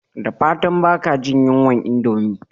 Da fatan baka jin yunwar indomie